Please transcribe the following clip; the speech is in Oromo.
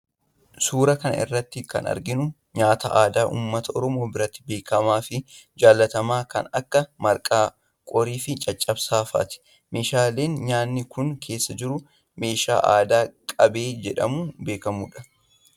Suuraa kana irratti kan arginu Kun nyaata aadaa uummata oromoo biratti beekamaafi jaallatamaa kan Akka marqaa , qoriifi caccabsaa faati. Meeshaaleen nyaanni Kun keessa jirus meeshaa aadaa qabee jedhamuum beekamudha.